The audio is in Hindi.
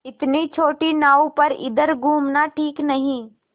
इतनी छोटी नाव पर इधर घूमना ठीक नहीं